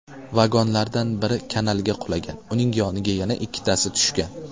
Vagonlardan biri kanalga qulagan, uning yoniga yana ikkitasi tushgan.